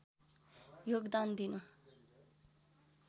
योगदान दिनु